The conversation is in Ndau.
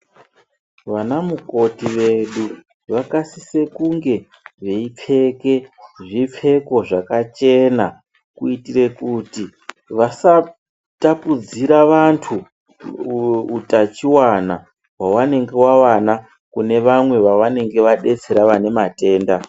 Vanamukoti vedu vakasise kunge veipfeke zvipfeko zvakachena kuitire kuti vasatapudzira vantu utachiwana hwavanenge vawana kune vamwe vavanenge vadetsera vane matenda.